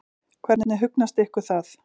Hvernig hugnast ykkur það?